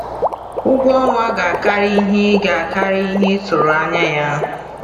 Ụgwọ ọnwa ga-akarị ihe ị ga-akarị ihe ị tụrụ anya ya.